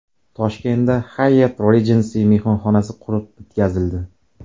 Toshkentda Hyatt Regency mehmonxonasi qurib bitkazildi.